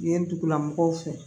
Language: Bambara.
Yen dugulamɔgɔw fɛ